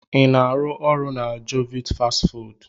Ị na-arụ ọrụ na jovit fastị fụụdụ?